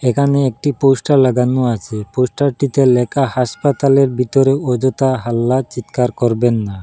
এখানে একটি পোস্টার লাগানো আছে পোস্টারটিতে লেখা হাসপাতালের ভিতরে অযথা হাল্লা চিৎকার করবেন না।